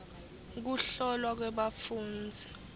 kuhlolwa kwebafundzi